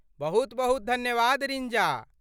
बहुत बहुत धन्यवाद रिंजा।